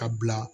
Ka bila